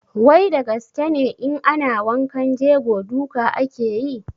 Wai da gaske ne in ana wankan jego duka ake yi?